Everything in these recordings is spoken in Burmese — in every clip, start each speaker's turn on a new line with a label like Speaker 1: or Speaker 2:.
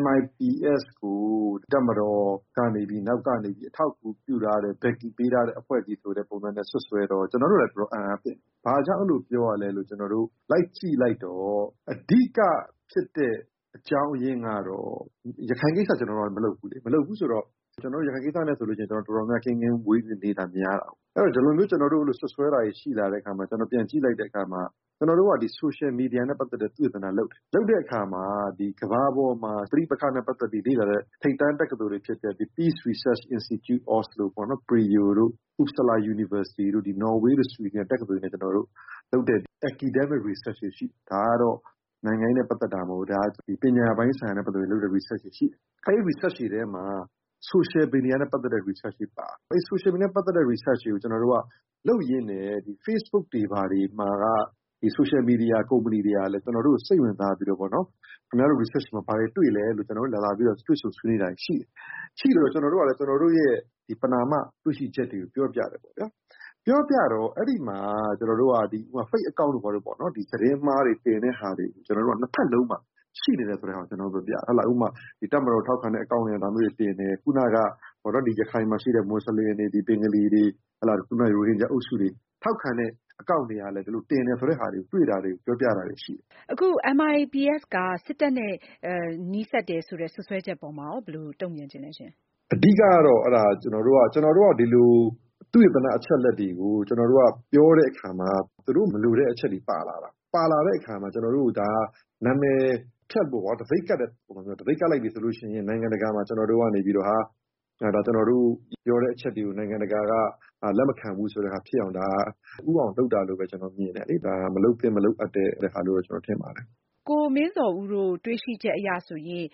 Speaker 1: MIPS ကို တပ်မတော်နောက်ကနေပြီး အထောက်အကူပြုတာ အကူညီပေးထားတဲ့ အဖွဲ့အစည်းဆိုပြီး စွပ်စွဲတယ်။ ဘာကြောင့် အဲလိုပြောရလဲလို့ လိုက်ကြည့်လိုက်တော့ အဓိကဖြစ်တဲ့ အကြောင်းအရင်းကတော့ ကျနော်တို့မှာက ရခိုင်ကိစ္စ ကျနော်တို့မလုပ်ဘူးလေ၊ ရခိုင်ကိစ္စနဲ့တော်တော်များများ ဝေးဝေးနေတာများပါတယ်။ ဒီလိုမျိုးကျနော်တို့ကို စွပ်စွဲလိုက်တာတွေရှိလာတဲ့အခါမှာ ပြန်ကြည့်လိုက်တော့ ကျနော်တို့က social media နဲ့ ပတ်သက်ပြီးတော့ သုတေသနလုပ်တယ်။ လုပ်တဲ့အခါမှာ ကမ္ဘာပေါ်မှာရှိတဲ့ ပဋိပက္ခနဲ့ ပတ်သက်ပြီး လေ့လာတဲ့ ထိပ်တန်းသက္ကသိုလ်တွေပေါ့နော် Peace Research Institute Oslo လို နော်ဝေးတို့ ဆွီဒင်တို့က တက္ကသိုလ်တွေနဲ့ လုပ်တဲ့ academic research တွေရှိတယ် ။ ဒါကတော့ နိုင်ငံရေးနဲ့ ပတ်သက်တာမဟုတ်ဘူး။ ဒါကျနော်တို့ ပညာရေးပိုင်းဆိုင်ရာနဲ့ လုပ်တဲ့ research တွေရှိတယ်။ အဲဒီမှာ သုတေသနလုပ်တယ် ။ လုပ်တဲ့အခါမှာ social media နဲ့ ပတ်သက်တဲ့ research တွေပါတယ်။ အဲဒီတော့ social media နဲ့ ပတ်သက်တဲ့ research တွေလုပ်ရင်းနဲ့ facebook social media ကုမ္ပဏီတွေကလည်း ကျနော်တို့ကို စိတ်ဝင်စားပြီးတော့ ခင်ဗျားတို့ research မှာ ဘာတွေတွေ့လဲ ဆိုပြီး ကျနော်တို့ကို လာပြီး တွေ့ဆုံဆွေးနွေးတာတွေရှိတယ်။ ကျနော်တို့ကလည်း ကျနော်တို့ ပဏာမ တွေ့ရှိချက်တွေကို ပြောပြတယ်။ အဲဒီမှာ Fake account တို့ သတင်းမှားတွေတင်တာမှာ နှစ်ဘက်လုံးမှာ ရှိနေတယ်ဆိုတာကို ကျနော်တို့ ပြောပြတယ်။ ဥပမာ- တပ်မတော်ကို ထောက်ခံတဲ့ အကောင့် ဒါတွေကတင်တယ်၊ ခုနက ရခိုင်မှာရှိတဲ့ မွတ်ဆလင်တွေ၊ ဘင်္ဂါလီတွေ၊ ရိုဟင်ဂျာအုပ်စုတွေ ထောက်ခံတဲ့ အကောင့်တွေကလည်း တင်တယ်ဆိုတဲ့ ဟာတွေကို တွေ့တယ်လို့ ပြောပြတာတွေ ရှိတယ်။
Speaker 2: အခု MIPS က စစ်တပ်နဲ့ နီးစပ်တယ်ဆိုတဲ့ စွပ်စွဲချက်ပေါ်မှာ ဘယ်လိုတုန့်ပြန်ချင်လဲရှင့်။
Speaker 1: အဓိကကတော့ ကျနော်တို့က ဒီလို သုတေသန အချက်အလက်တွေကို ကျနော်တို့ ပြောတဲ့အခါမှာ သူတို့မလိုတဲ့အချက်တွေ ပါလာတယ်။ ပါလာတဲ့အခါမှာ ကျနော်တို့ကို ဒါက နာမည်ဖျက်ဖို့ တံဆိပ်ကပ်တဲ့ပုံစံမျိုးပေါ့။ အဲတော့ တံဆိပ်ကပ်လိုက်ပြီဆိုရင် နိုင်ငံတကာမှာ ကျနော်တို့ရဲ့ ပြောတဲ့အချက်တွေကို နိုင်ငံတကာက လက်မခံဘူးဆိုတာဖြစ်အောင် လက်ဦးအောင် လုပ်တာလို့ပဲ ကျနော် မြင်တယ်။ မလုပ်သင့် မလုပ်အပ်တဲ့အရာလို့ပဲ ကျနော်ထင်ပါတယ်။
Speaker 2: ကိုမင်းဇော်ဦးတို့ တွေ့ရှိချက်အရဆိုရင်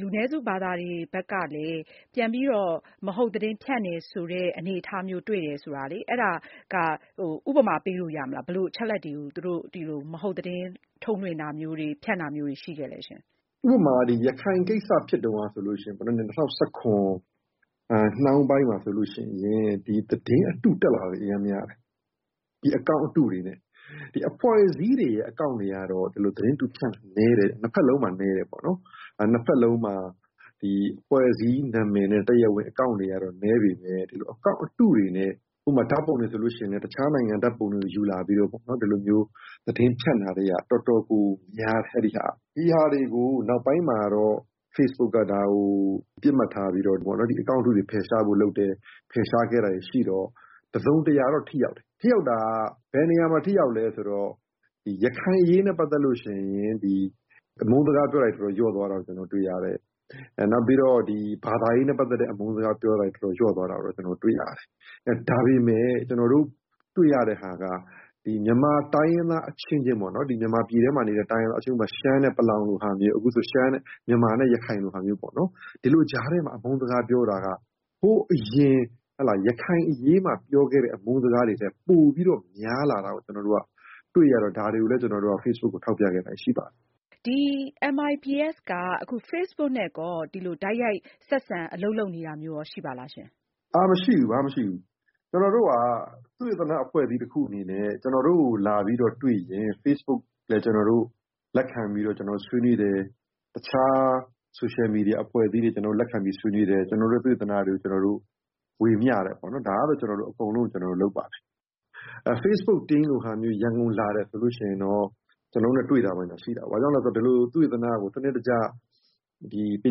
Speaker 2: လူနည်းစုဘာသာတွေဘက်ကလည်း ပြန်ပြီးတော့ မဟုတ်သတင်းဖြန့်တယ်ဆိုတဲ့ အနေအထားမျိုးတွေ့တယ်ဆိုတော့ ဥပမာ ပေးလို့ရမလား။ ဘယ်လိုအချက်အလက်တွေကို သူတို့ မဟုတ်သတင်းထုတ်လွှင့်တာမျိုး၊ ဖြန့်တာမျိုး ရှိခဲ့လဲရှင့်။
Speaker 1: ဥပမာ ရခိုင်ကိစ္စဖြစ်တုန်းကဆိုရင် ၂၀၁၇နှောင်းပိုင်းမှာ သတင်းအတုတက်လာတာ အရမ်းများတယ်။ အကောင့်အတုတွေနဲ့။ အဖွဲ့အစည်းတွေရဲ့ အကောင့်တွေကတော့ သတင်းအတု ဖြန့်တာ နည်းတယ်။ နှစ်ဖက်လုံးမှာ နည်းတယ်။ နှစ်ဖက်လုံးမှာ အဖွဲ့အစည်းနာမည်နဲ့ တရားဝင်အကောင့်တွေကတော့ နည်းပေမဲ့ အကောင့်အတုတွေနဲ့ ဥပမာ ဓါတ်ပုံတွေဆိုရင် အခြားနိုင်ငံ ဓါတ်ပုံတွေ ယူလာပြီးတော့ ဒီလိုမျိုးသတင်းဖြန့်တာတွေက တော်တော်ကို များတယ်။ ဒီဟာတွေကို နောက်ပိုင်းမှာတော့ Facebook ကနေ ပစ်မှတ်ထားပြီးတော့ အကောင့်တုတွေ ဖယ်ရှားဖို့လုပ်တယ်။ ဖယ်ရှားခဲ့တာတွေရှိတော့ တစုံတရာတော့ ထိရောက်တယ်။ ထိရောက်တာက ဘယ်နေရာမှာ ထိရောက်လည်းဆိုတော့ ရခိုင်အရေးနဲ့ ပတ်သက်လို့ရှိရင် အမုန်းစကားတွေပြောတာ တော်တော်လျော့သွားတာတွေ တွေ့ရတယ်။ နောက် ဘာသာရေးနဲ့ပတ်သက်တဲ့ အမုန်းစကားပြောတာတွေ တော်တော်လျော့သွားတာ တွေ့ရတယ်။ ဒါပေမယ့် ကျနော်တို့ တွေ့ရတဲ့ဟာက မြန်မာတိုင်းရင်းသားအချင်းချင်း ဥပမာ- ရှမ်းနဲ့ ပလောင်လိုဟာမျိုး၊ အခုဆိုရင် မြန်မာနဲ့ ရခိုင်လို ဟာမျိုး၊ ဒီလိုကြားထဲမှာ အမုန်းစကားပြောတာက ဟိုးအရင် ရခိုင်အရေးမှာပြောခဲ့တဲ့ အမုန်းစကားတွေထက် ပိုပြီးများလာတာကို ကျနော်တို့က တွေ့ရတော့ ဒါတွေကိုလည်း Facebook ကို ထောက်ပြခဲ့တာတွေရှိတယ်။
Speaker 2: MIPS က Facebook နဲ့ တိုက်ရိုက်ဆက်ဆံ အလုပ်လုပ်နေတာမျိုး ရှိပါလား။
Speaker 1: မရှိပါဘူး။ ဘာမှ မရှိပါဘူး။ ကျနော်တို့က သုတေသန အဖွဲ့အစည်းတခုအနေနဲ့ ကျနော်တို့ကို လာပြီးတွေ့ရင် Facebook လည်း ကျနော်တို့ လက်ခံဆွေးနွေးတယ်။ အခြား ဆိုရှယ်မီဒီယာ အဖွဲ့အစည်းတွေကိုလည်း လက်ခံဆွေးနွေးတယ်။ ကျနော်တို့ သုတေသနတွေကို ဝေမျှပါတယ်။ Facebook team ရန်ကုန်ကို လာတဲ့အခါမျိုးဆို ကျနော်တို့နဲ့ တွေ့တာတော့ရှိပါတယ်။ ဘာကြောင့်လဲဆိုတော့ ဒီလို သုတေသနကို စနစ်တကျ ပ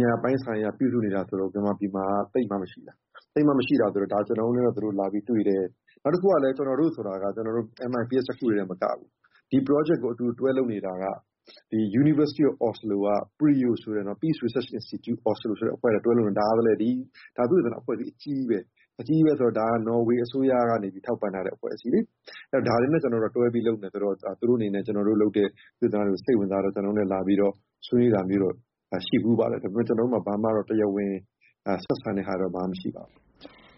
Speaker 1: ညာပိုင်းဆိုင်ရာ ပြုစုနေတာဆိုလို့ သိပ်မှ မရှိတာ။ ကျနော်တို့ ဆိုတဲ့ နေရာမှာ MIPS တခုတည်း မဟုတ်ပါဘူး။ ဒီ Project ကို အတူတွဲလုပ်နေတာက University of Oslo က Peace Research Institute Oslo လိုအဖွဲ့နဲ့ တွဲလုပ်နေတယ်။ PRIO ဆိုတာက သုတေသနအဖွဲ့အစည်းအကြီးကြီးပါ။ ဒါက နော်ဝေးအစိုးရက ထောက်ပံထားတဲ့ အဖွဲ့အစည်းလည်းဖြစ်ပါတယ်။ ဒါတွေနဲ့ ကျနော်တို့က တွဲပြီး အလုပ်လုပ်နေတယ်ဆိုတော့ သူတို့အနေနဲ့ ကျနော်တို့ သုတေသနစာတမ်းတွေကို စိတ်ဝင်စားတော့ ကျနော်တို့နဲ့ လာပြီးဆွေးနွေးတာမျိုး ရှိဘူးပါတယ်။ ဒါပေမဲ့ ကျနော်တို့ ဘာမှ တရားဝင် ဆက်တံတာမျိုး မရှိပါဘူး။